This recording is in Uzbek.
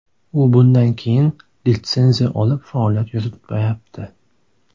U bundan keyin litsenziya olib faoliyat yuritmayapti.